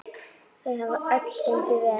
Þau hafa öll gengið vel.